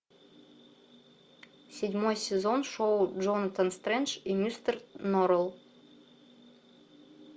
седьмой сезон шоу джонатан стрендж и мистер норрелл